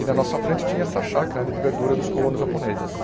E na nossa frente tinha essa chácara ali de verdura dos colonos japoneses.